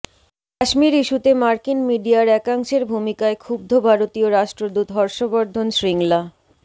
কাশ্মীর ইস্যুতে মার্কিন মিডিয়ার একাংশের ভূমিকায় ক্ষুব্ধ ভারতীয় রাষ্ট্রদূত হর্ষবর্ষন শ্রীংলা